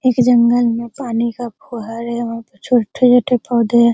एक जंगल में पानी का फुहारे है वहा पे छोटे-छोटे पौधे है।